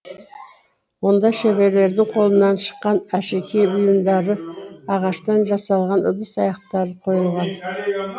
онда шеберлердің қолынан шыққан әшекей бұйымдары ағаштан жасалған ыдыс аяқтары қойылған